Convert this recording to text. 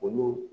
Olu